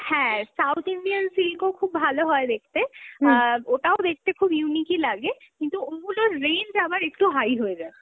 হ্যাঁ, South Indian সিল্কও খুব ভালো হয় দেখতে, অ্যাঁ ওটাও দেখতে খুব unique ই লাগে, কিন্তু ওগুলোর range আবার একটু high হয়ে যায়।